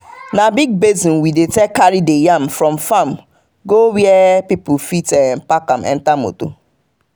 na big basin we dey take carry the yam from farm go where people fit pack am enter motor.